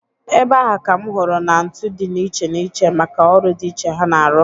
Ebe ahụ ka m hụrụ na ntu dị n'iche iche maka ọrụ dị iche ha na-arụ.